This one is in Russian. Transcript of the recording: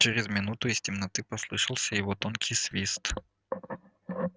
через минуту из темноты послышался его тонкий свист